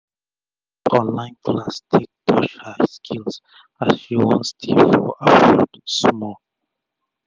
she use online class take tush up her skill as she wan stay for for abroad small